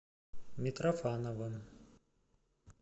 митрофановым